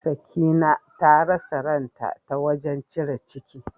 Sakina ta rasa ran ta, ta wajen cire ciki.